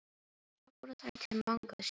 Svo fóru þær til Manga og Stínu.